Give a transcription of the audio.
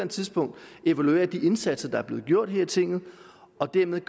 tidspunkt evaluere de indsatser der er blevet gjort her i tinget og dermed